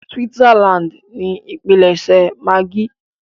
Switzerland ni ipílẹṣẹ maggi.